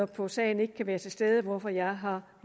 på sagen ikke kan være til stede hvorfor jeg har